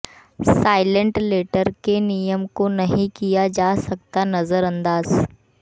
silent letter के नियम को नहीं किया जा सकता नजरअंदाज